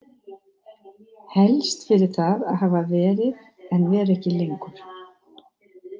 Helst fyrir það að hafa verið en vera ekki lengur.